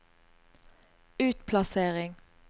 utplassering